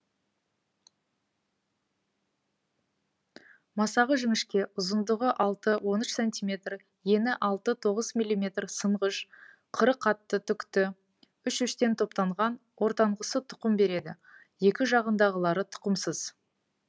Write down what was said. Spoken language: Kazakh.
масағы жіңішке ұзындығы алты он үш сантиметр ені алты тоғыз миллиметр сынғыш қыры қатты түкті үш үштен топтанған ортанғысы тұқым береді екі жағындағылары тұқымсыз